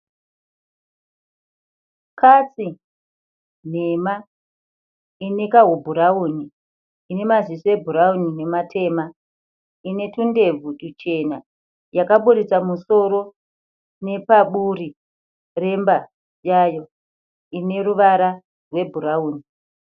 Katsi nhema ine kahubhurawuni ine maziso ebhurawuni nematema ine tundebvu tuchena yakaburitsa musoro nepaburi remba yayo ine ruvara rwebhurawuni.